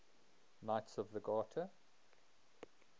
knights of the garter